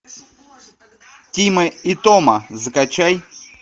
тима и тома закачай